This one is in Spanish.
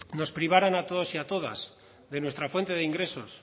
nos privaran a todos y todas de nuestra fuente de ingresos